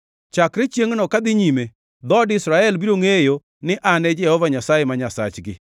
Chakre chiengʼno kadhi nyime, dhood Israel biro ngʼeyo ni An e Jehova Nyasaye ma Nyasachgi.